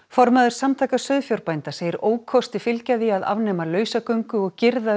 formaður samtaka sauðfjárbænda segir ókosti fylgja því að afnema lausagöngu og girða